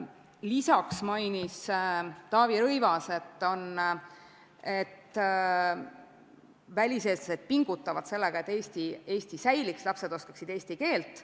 Lisaks mainis Taavi Rõivas, et väliseestlased pingutavad, et Eesti säiliks, et lapsed oskaksid eesti keelt.